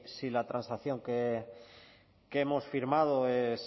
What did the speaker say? si la transacción que hemos firmado es